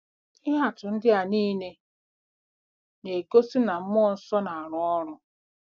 Ihe atụ ndị a niile na-egosi na mmụọ nsọ na-arụ ọrụ.